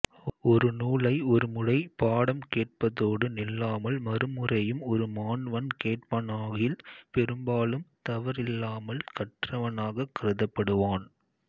ஒரு நூலை ஒரு முறை பாடம் கேட்பதோடு நில்லாமல் மறுமுறையும் ஒரு மாண்வன் கேட்பானாகில் பெரும்பாலும் தவறில்லாமல் கற்றவனாகக் கருதப்படுவான்